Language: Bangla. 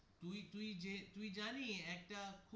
তুই তুই যে তুই জানি একটা.